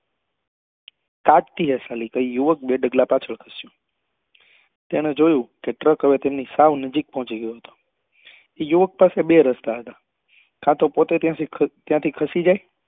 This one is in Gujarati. તાકતી હૈ સાલી કહી યુવક બે ડગલાં પાછળ ખસ્યો તેને જોયું કે ટ્રક હવે તેમની સાવ નજીક પહોચી ગયો હતો યુવક પાસે બે રસ્તા હતા કાતો પોત્તે ત્યાં થી ખસ ખસી જાય